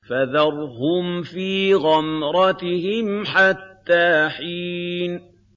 فَذَرْهُمْ فِي غَمْرَتِهِمْ حَتَّىٰ حِينٍ